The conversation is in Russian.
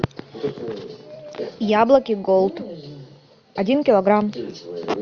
яблоки голд один килограмм